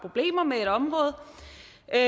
er